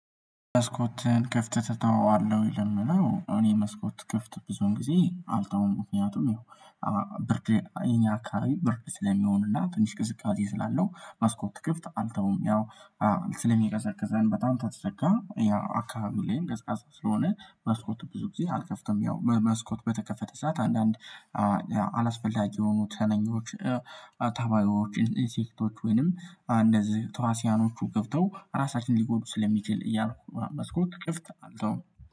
መስኮትን ክፍት ተተዋለሁ ለሚለው እኔ መስኮት ክፍት ብዙዉን ጊዜ አልተውም ምክንያቱም ይኸው ብርድ የኛ አከባቢ ብርድ ስለሚሆንና ትንሽ ቅዝቃዜ ስላለው መስኮት ክፍት አልተውም። ያው ስለሚቀዘቅዘን በጣም ካልተዘጋ ያው አካባቢ ላይም ቀዝቃዛ ስለሆነ መስኮቱ ብዙ ጊዜ አልከፍትም። ያው በመስኮት በተከፈተ ስዓት አንዳንድ አላስፈላጊ የሆኑት ተነኞች ተባዮች እንሴክቶች ወይንም እንደዚህ ተዋስያኖቹ ገብተው ራሳችንን ሊጎዱ ስለሚችል እያልኩ ነው። መስኮት ክፍት አልተዉም